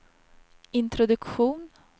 introduktion